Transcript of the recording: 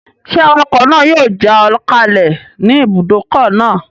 Ṣé awakọ̀ náà yóò já ọ kalẹ̀ ní ibùdókọ̀ náà?